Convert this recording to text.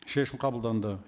шешім қабылданды